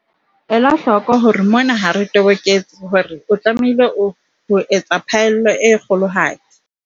Ela hloko hore mona ha re toboketse hore o tlamehile ho etsa phaello e kgolohadi.